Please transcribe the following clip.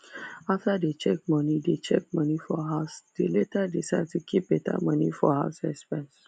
after they check money they check money for house they later decide to keep better money for house exepnse